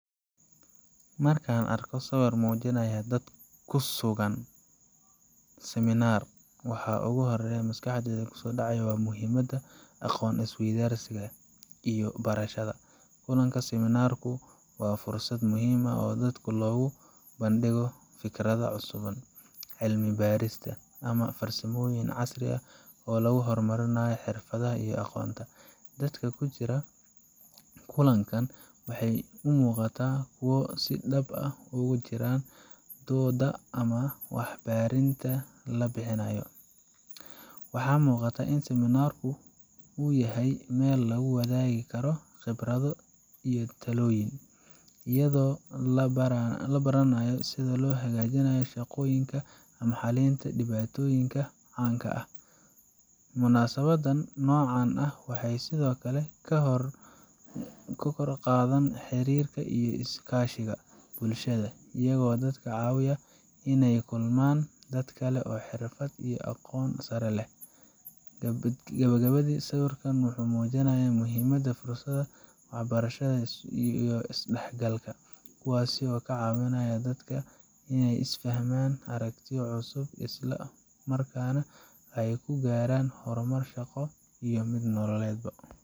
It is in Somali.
Marka aan arko sawirkan oo muujinaya dad ku sugan kulan seminar, waxa ugu horeeya ee maskaxdayda ku soo dhacaya waa muhiimadda aqoon is weydaarsiga iyo barashada. Kulanka seminar ku waa fursad muhiim ah oo dadka loogu soo bandhigo fikradaha cusub, cilmi-baarista, ama farsamooyin casri ah oo lagu horumarinayo xirfadaha iyo aqoonta. Dadka ku jira kulan kan waxay u muuqdaan kuwo si dhab ah ugu jiraan doodda ama warbixinta la bixinaayo. Waxaa muuqata in seminar kan uu yahay meel lagu wadaagi karo khibrado iyo talooyin, iyadoo la baranayo sida loo hagaajiyo shaqooyinka ama xalinta dhibaatooyinka caanka ah. Munaasabadan noocan ah waxay sidoo kale kor u qaadaan xiriirka iyo iskaashiga bulshada, iyagoo dadka ka caawiya inay la kulmaan dad kale oo xirfad iyo aqoon sare leh. Gabagabadii, sawirkan wuxuu muujinayaa muhiimadda fursadaha barashada iyo is dhexgalka, kuwaas oo ka caawinaya dadka inay fahmaan aragtiyo cusub, isla markaana ay ku gaaraan horumar shaqo iyo nololed bo.